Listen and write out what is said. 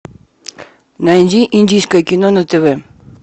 найди индийское кино на тв